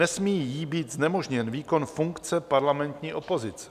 Nesmí jí být znemožněn výkon funkce parlamentní opozice.